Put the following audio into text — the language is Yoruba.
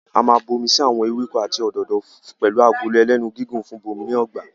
A máa n bomi sí awọn ewéko àti awọn òdodo pẹlu Agolo ẹlẹ́nu gígùn fún bíbomirin ọgbà